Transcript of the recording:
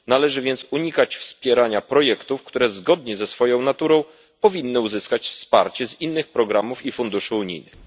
Należy więc unikać wspierania projektów, które zgodnie ze swoją naturą powinny uzyskać wsparcie z innych programów i funduszy unijnych.